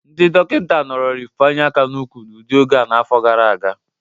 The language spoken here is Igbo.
Ndị dọkịna nọrọrị mfanye aka n'ukwu udị oge a n'afọ gara aga.